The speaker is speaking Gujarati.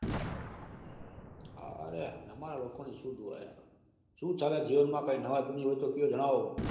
અરે અમાર લોકો નીઓ સુ દુઆ યાર. સુ ચાલે જીવન માં કઈ નવા જૂની હોય તો કો જણાવો.